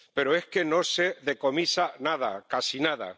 pero es que no se decomisa nada, casi nada.